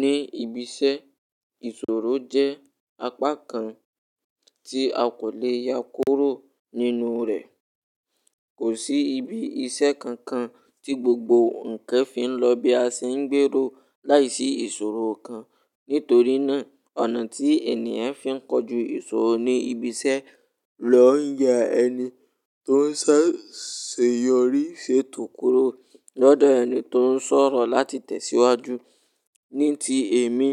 Ní ibi iṣẹ́, ìṣòro jẹ́ apá kan tí a kò le ya kúrò nínú rẹ̀. Kò sí ibi iṣẹ́ kankan tí gbogbo ǹkan fi ń lọ bí a ṣe ń gbèrò láìsí ìṣòro kan. Nítorí náà, ọ̀nà tí ènìyàn fi ń kojú ìṣòro ní ibi iṣẹ́ lò ń ya ẹni tó ń ṣà se yọrí ṣe tò kúrò lọ́dọ̀ ẹni tó ń sọ̀rọ̀ láti tẹ̀síwájú. Ní ti èmi,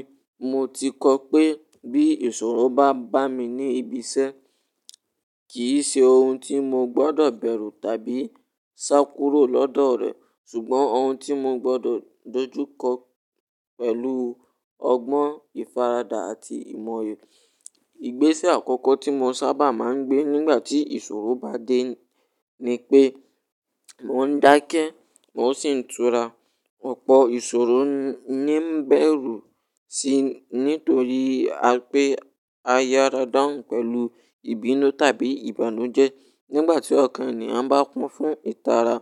mo ti kọ́ pé bí ìṣòro bá bá mi ní ibi iṣẹ́, kì í ṣe ohun tí mo gbọ́dọ̀ bẹ̀rù tàbí sá kúrò lọ́dọ̀ rẹ̀, ṣùgbọ́n ohun tí mo gbọ́dọ̀ dojú kọ pẹ̀lú ọgbọ́n ìfaradà àti ìmọye. Igbésẹ̀ àkọ́kọ́ tí mo sábà máa ń gbé nígbà tí ìṣòro bá dé ni pé mo ń dákẹ́ mo sì ń tura. Ọ̀pọ̀ ìṣòro ni ń bẹ̀rù sí nítorí pé a yára dahun pẹ̀lú ìbínú tàbí ìbànújẹ́. Nígbà tí ọ̀kan ènìyàn bá kun fún ìtara,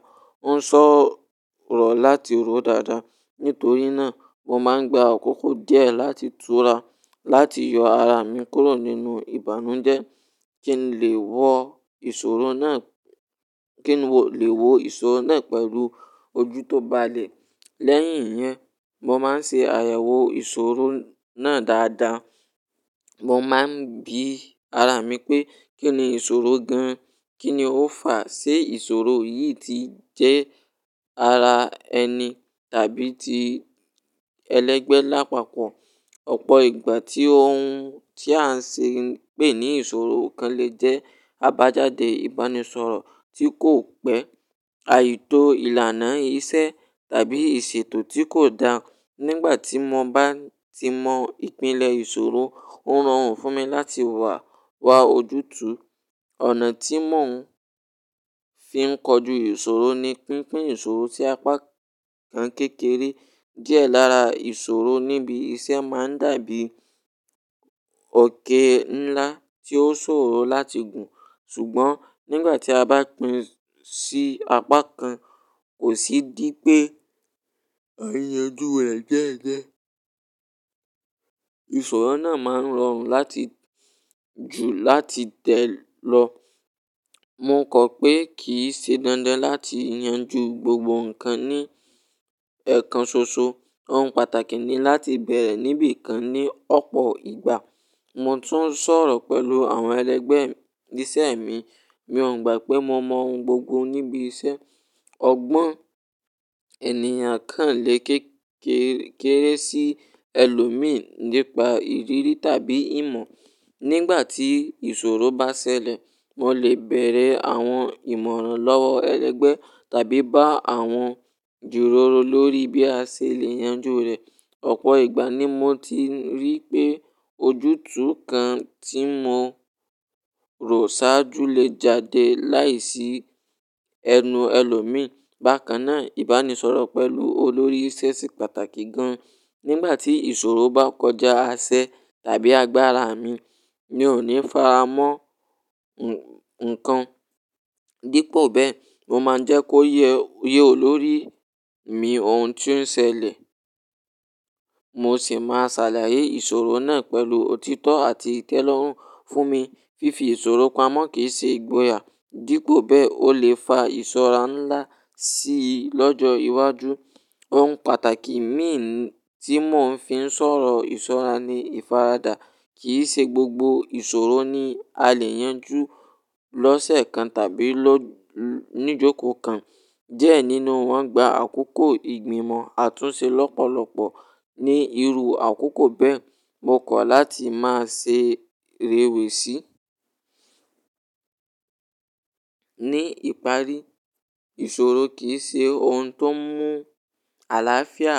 ó ń sọ̀rọ̀ láti ro dáadáa. Nítorí náà, mo máa ń gba àkókò díẹ̀ láti tura láti yọ ara mi kúrò nínú ìbànújẹ́ kí n lè wo ìṣòro náà, kí n lè wo ìṣòro náà pẹ̀lú ojú tó balẹ̀. Lẹ́yìn yẹn, mo máa ń ṣe àyẹ̀wò ìṣòro náà dáadáa. Mo máa ń bi ara mi pé kí ni ìṣòro gan-an, kí ni ó fàá, ṣé ìṣòro yìí ti jẹ́ ara ẹni tàbí ti ẹlẹ́gbẹ́ lápapọ̀? Ọ̀pọ̀ ìgbà tí ohun tí à ń ṣe ń pè ní ìṣòro kan lè jẹ́ àbájáde ìbánisọ̀rọ̀ tí kò pẹ́, àìtó ìlànà iṣẹ́ tàbí ìṣètò tí kò dáa. Nígbà tí mo bá ti mọ ìpìlẹ̀ ìṣòro, ó rọrùn fún mi láti wà wá ojútùú. Ọ̀nà tí mò ń fi ń kojú ìṣòro ni pínpín ìṣòro sí apá kan kékeré. Díẹ̀ lára ìṣòro níbi iṣẹ́ máa ń dàbí òkè ńlá tí ó ṣòro láti gùn. Ṣùgbọ́n nígbà tí a bá pín sí apá kan, kò sí dí pé à n yànjú rẹ̀ diedie. Ìṣòro náà máa ń rọrùn láti jù láti tẹ̀ lọ. Mo kọ̀ pé kì í ṣe dandan láti yanjú gbogbo ǹkan ní ẹ̀ẹ̀kan ṣoṣọ. Ohun pàtàkì ni láti bẹ̀rẹ̀ níbi kan ní ọ̀pọ̀ ìgbà. Mo tún sọ̀rọ̀ pẹ̀lú àwọn ẹlẹ́gbẹ̀ẹ́ iṣẹ́ mi. Mi ò gbà pé mo mọ ohun gbogbo níbi iṣẹ́. Ọ̀gbọ́n ènìyàn kan lè kékeré sí ẹlòmíí nípa ìrírí tàbí ìmọ̀. Nígbà tí ìṣòro bá ṣẹlẹ̀, mo lè bẹ̀rẹ̀ àwọn ìmọ̀ràn lọ́wọ́ ẹlẹ́gbẹ̀ẹ́ tàbí bá àwọn ju rọ̀rọ̀ lórí bí a ṣe lè yanjú rẹ̀. Ọ̀pọ̀ ìgbà ni mo ti rí pé ojútùú kan tí mo rò sáájú lè jáde láìsí ẹnu ẹlòmíí. Bákan náà, ìbánisọ̀rọ̀ pẹ̀lú olórí iṣẹ́ se pàtàkì gan-an. Nígbà tí ìṣòro bá kọjá aṣẹ tàbí agbára mi, mi ò ní faramọ́ ǹkan. Dípò bẹ́ẹ̀, mo máa ń jẹ́ kó yé olórí mi ohun tí ó ń ṣẹlẹ̀, mo sì máa ṣàlàyé ìṣòro náà pẹ̀lú òtítọ́ àti ìtẹ́lọ́rùn fún mi. Fifi ìṣòro pamọ́ kì í ṣe ìgboyà. Dípò bẹ́ẹ̀, ó lè fa ìṣọ́ra ńlá sí i lọ́jọ́ iwájú. Ohun pàtàkì mí tí mò ń fi ń sọ̀rọ̀ ìṣọ́ra ni ìfaradà. Kì í ṣe gbogbo ìṣòro ni a lè yanjú lọ́sẹ̀ kan tàbí ni ìjókòó kan. Die nínú wọ́n gba àkókò ìgbìmọ̀ àtúnṣe lọ́pọ̀lọpọ̀ ní irú àkókò bẹ́ẹ̀, mo kọ̀ láti máa ṣe rèwèé sí. Ní ìparí, ìṣòro kì í ṣe ohun tó ń mú àlàáfíà.